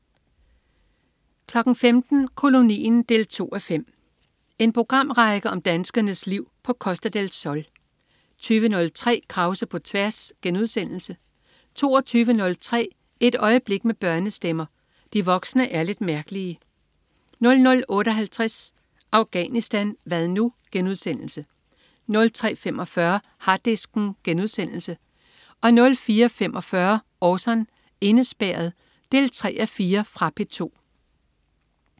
15.00 Kolonien 2:5. En programrække om danskernes liv på Costa del Sol 20.03 Krause på tværs* 22.03 Et øjeblik med børnestemmer. De voksne er lidt mærkelige 00.58 Afghanistan hvad nu?* 03.45 Harddisken* 04.45 Orson: Indespærret 3:4. Fra P2